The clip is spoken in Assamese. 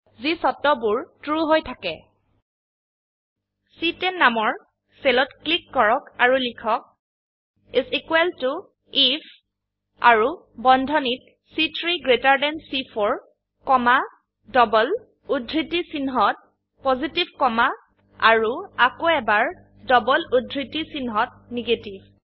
যি চৰ্তবোৰ ট্ৰু হৈ থাকে চি10 নামৰ সেলত ক্লিক কৰক আৰু লিখক ইচ ইকোৱেল ত আইএফ আৰু বন্ধনীত চি3 গ্ৰেটাৰ থান চি4 কমা ডবল উদ্ধৃতি চিনহত পজিটিভ কমা আৰু আকৌ এবাৰ ডবল উদ্ধৃতি চিনহত নেগেটিভ